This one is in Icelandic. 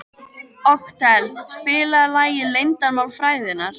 Otkell, spilaðu lagið „Leyndarmál frægðarinnar“.